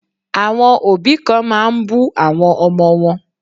Àwọn òbí kan máa ń bú àwọn ọmọ wọn.